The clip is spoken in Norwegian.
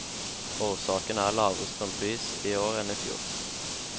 Årsaken er lavere strømpris i år enn i fjor.